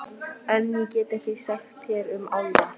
En- ég get ekkert sagt þér um álfa.